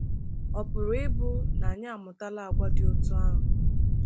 Ọ pụrụ ịbụ na anyị amụtala àgwà dị otú ahụ?